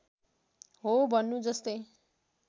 हो भन्नु जस्तै